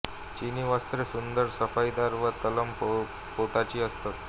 चिनी वस्त्रे सुंदर सफाईदार व तलम पोताची असत